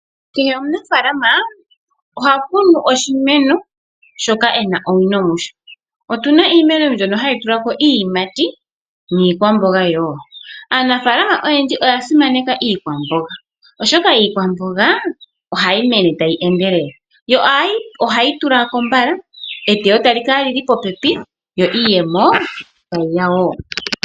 Kehe omunafaalama ohakunu oshimeno shoka ena owino musho. Opuna iimeno mbyono hayi tula ko iiyimati niikwamboga. Aanafaalama oyendji oyasimaneka iikwamboga oshoka iikwamboga ohayi mene tayi endelele, yo ohayi tula ko mbala. Eteyo otali kala lili popepi yo iiyemo tayi ya woo.